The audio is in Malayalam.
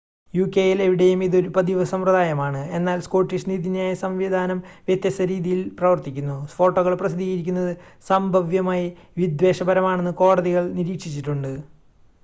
യുകെയിൽ എവിടെയും ഇത് ഒരു പതിവ് സമ്പ്രദായമാണ് എന്നാൽ സ്കോട്ടിഷ് നീതിന്യായ സംവിധാനം വ്യത്യസ്ത രീതിയിൽ പ്രവർത്തിക്കുന്നു ഫോട്ടോകൾ പ്രസിദ്ധീകരിക്കുന്നത് സംഭവ്യമായി വിദ്വേഷപരമാണെന്ന് കോടതികൾ നിരീക്ഷിച്ചിട്ടുണ്ട്